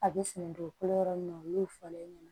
A bɛ sɛnɛ dugukolo yɔrɔ min na n'o fɔra e ɲɛna